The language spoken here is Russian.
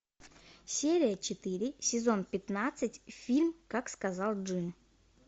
серия четыре сезон пятнадцать фильм как сказал джин